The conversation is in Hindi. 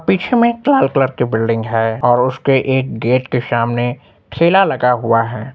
पीछे में एक लाल कलर की बिल्डिंग है और उसके एक गेट के सामने ठेला लगा हुआ है।